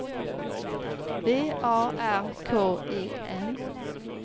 V A R K E N